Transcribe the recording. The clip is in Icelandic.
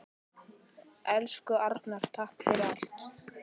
Elsku Arnar, takk fyrir allt.